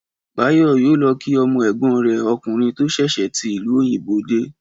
Báyò yóò lo̩ kí o̩mo̩ è̩gbó̩n rè̩ o̩kùnrin tó s̩ès̩è tí ìlú òyìnbó dé